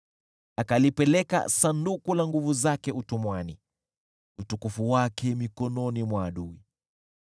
Akalipeleka Sanduku la nguvu zake utumwani, utukufu wake mikononi mwa adui.